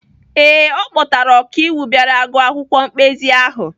Ee, ọ kpọtara okaiwu bịara gụọ akwụkwọ mkpezi ahụ.